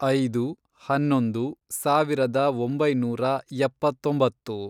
ಐದು, ಹನ್ನೊಂದು, ಸಾವಿರದ ಒಂಬೈನೂರ ಎಪ್ಪತ್ತೊಂಬತ್ತು